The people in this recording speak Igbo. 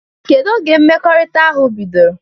Kedu oge mmekọrịta ahụ bidoro?